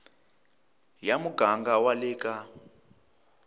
ya muganga wa le ka